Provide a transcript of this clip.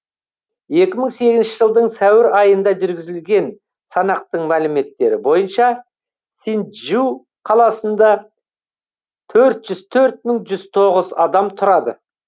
екі мың сегізінші жылдың сәуір айында жүргізілген санақтың мәліметтері бойынша синьчжу қаласында төрт жүз төрт мың жүз тоғыз адам тұрады